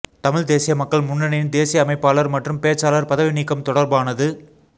தமிழ்த் தேசிய மக்கள் முன்னணியின் தேசிய அமைப்பாளர் மற்றும் பேச்சாளர் பதவி நீக்கம் தொடர்பானது